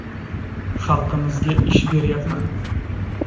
Xalqimizga ish beryapman.